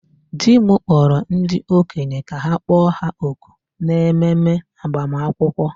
di m kpọkuru ndi-okenye ka ha kpọ ha òkù n'ememe agbamakwụkwọ